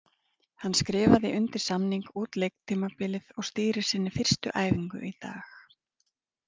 Hann skrifaði undir samning út leiktímabilið og stýrir sinni fyrstu æfingu í dag.